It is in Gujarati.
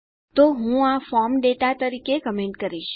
તો હું આ ફોર્મ દાતા તરીકે કમેન્ટ કરીશ